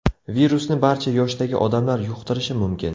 Virusni barcha yoshdagi odamlar yuqtirishi mumkin.